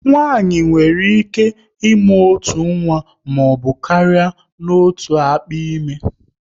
Nwaanyị nwere ike ịmụ otu nwa maọbụ karịa n'otu akpa ime